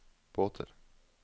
båter